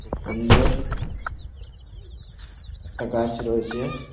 খুব সুন্দর একটা গাছ রয়েছে ।